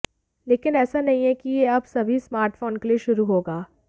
लेकिन ऐसा नहीं है कि यह अब सभी स्मार्टफोन के लिए शुरू होगा